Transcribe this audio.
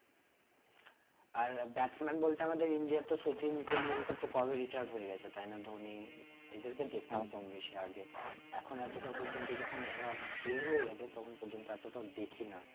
আর batsman বলতে আমাদের India তো শচীন টেন্ডুলকার তো কবে retired হয়ে গেছে তাই না ধোনি এদেরকে দেখতাম কম বেশি আগে এখন এতটা পর্যন্ত যখন এরা বের হয়ে গেছে তখন পর্যন্ত এতটা দেখি না